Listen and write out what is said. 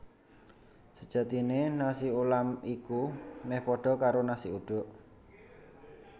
Sejatiné nasi ulam iku meh padha karo nasi uduk